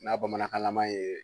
N'a bamanankanlama ye